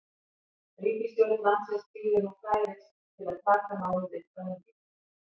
Ríkisstjórn landsins bíður nú færis til að taka málið upp að nýju.